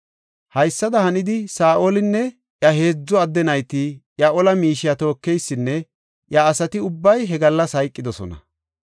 Haysada hanidi, Saa7olinne iya heedzu adde nayti, iya ola miishiya tookeysinne iya asati ubbay he gallas hayqidosona.